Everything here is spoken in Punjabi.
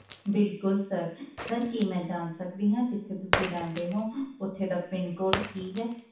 ਬਿਲਕੁਲ sir sir ਕੀ ਮੈਂ ਜਾਣ ਸਕਦੀ ਹਾਂ ਜਿੱਥੇ ਤੁਸੀ ਰਹਿੰਦੇ ਹੋ ਉੱਥੇ ਦਾ PIN code ਕੀ ਹੈ?